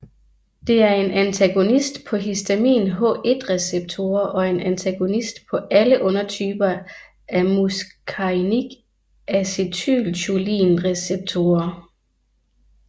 Det er en antagonist på histamin H1 receptorer og en antagonist på alle undertyper af muscarinic acetylcholin receptorer